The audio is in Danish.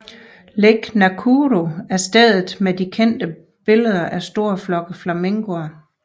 Lake Nakuru er stedet med de kendte billeder af store flokke af flamingoer